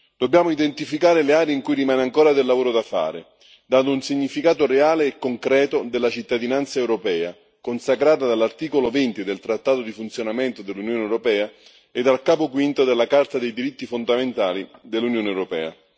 Dobbiamo identificare le aree in cui rimane ancora del lavoro da fare, dare un significato reale e concreto della cittadinanza europea, consacrata dall'articolo 20 del trattato sul funzionamento dell'Unione europea e dal capo quinto della Carta dei diritti fondamentali dell'Unione europea.